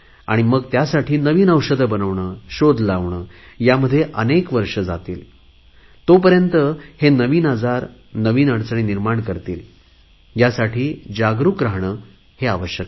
मग त्यासाठी नवीन औषधे बनवणे शोध लावणे ह्यामध्ये अनेक वर्षे जातील आणि तोपर्यंत हे नवीन आजार नवीन अडचणी निर्माण करतील ह्यासाठी जागरुक रहाणे आवश्यक आहे